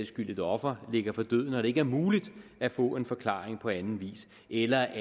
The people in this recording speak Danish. skyld et offer ligger for døden og det ikke er muligt at få en forklaring på anden vis eller